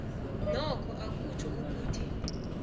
nokho akutjho ukuthi